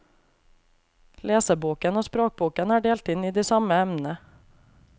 Leseboken og språkboken er delt inn i de samme emnene.